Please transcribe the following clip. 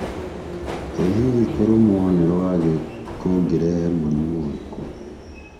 ĩ hihi kũrũmwo nĩtwagĩ kũngĩrehe mũrimũ urĩkũ